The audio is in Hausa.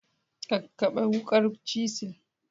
Kakkaɓe wukar cisinl.